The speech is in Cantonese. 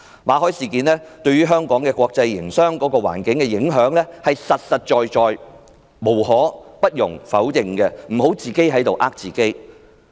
馬凱事件對香港國際營商環境的影響是實實在在的不容否認，請他們不要自我欺騙。